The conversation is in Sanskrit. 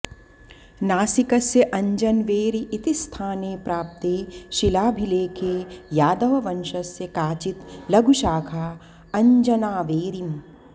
नासिकस्य अञ्जन्वेरि इति स्थाने प्राप्ते शिलाभिलेखे यादववंशस्य काचित् लघुशाखा अञ्जनावेरिं